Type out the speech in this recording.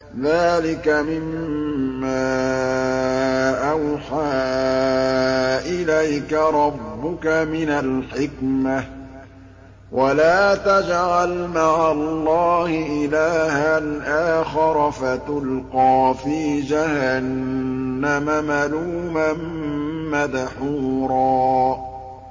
ذَٰلِكَ مِمَّا أَوْحَىٰ إِلَيْكَ رَبُّكَ مِنَ الْحِكْمَةِ ۗ وَلَا تَجْعَلْ مَعَ اللَّهِ إِلَٰهًا آخَرَ فَتُلْقَىٰ فِي جَهَنَّمَ مَلُومًا مَّدْحُورًا